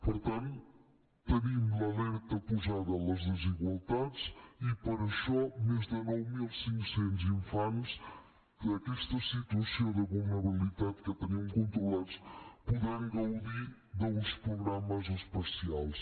per tant tenim l’alerta posada en les desigualtats i per això més de nou mil cinc cents infants en aquesta situació de vulnerabilitat que tenim controlats podran gaudir d’uns programes especials